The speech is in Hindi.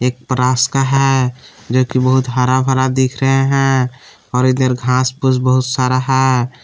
रास्ता है जोकि बहुत हरा भरा दिख रहा है और इधर घास फूस बहुत सारा है।